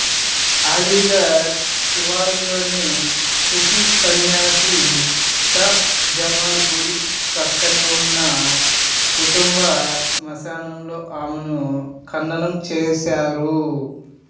అలీఘర్ శివార్లలోని సూఫీ సన్యాసి షా జమాల్ గుడి ప్రక్కనే ఉన్న కుటుంబ శ్మశానంలో ఆమెను ఖననం చేసారు